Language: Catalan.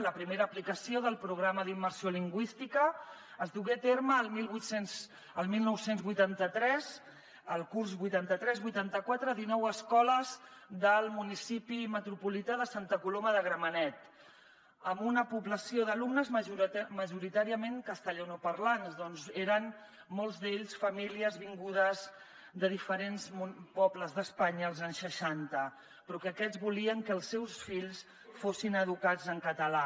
la primera aplicació del programa d’immersió lingüística es dugué a terme el dinou vuitanta tres el curs vuitanta tres vuitanta quatre a dinou escoles del municipi metropolità de santa coloma de gramenet amb una població d’alumnes majoritàriament castellanoparlants ja que eren molts d’ells famílies vingudes de diferents pobles d’espanya als anys seixanta però que aquests volien que els seus fills fossin educats en català